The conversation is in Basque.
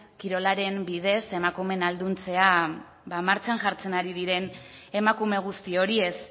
kirolaren bidez emakumeen ahalduntzea martxan jartzen ari diren emakume guzti horiez